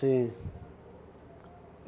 Sim.